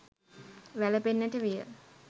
වැළපෙන්නට විය.